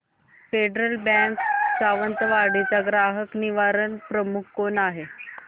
federal Bank Sawantwadi चा ग्राहक निवारण प्रमुख कोण आहे